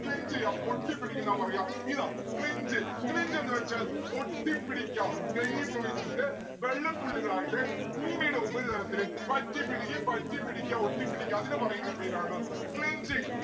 cling ഒട്ടിപ്പിടിക്കുന്നാ പറയാ. ഇതാ cling cling എന്ന് വച്ചാൽ ഒട്ടിപ്പിടിക്കാ ഘനീഭവിച്ചിട്ട് വെള്ളത്തുള്ളികളായിട്ട് ഭൂമിയ്‌ടെ ഉപരിതലത്തില് പറ്റിപിടിക്കും പറ്റിപിടിക്ക ഒട്ടിപ്പിടിക്കാ അതിന് പറയുന്ന പേരാണ് clinging